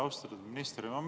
Austatud minister!